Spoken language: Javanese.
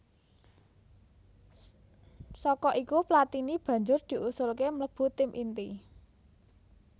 Saka iku Platini banjur diusulké mlebu tim inti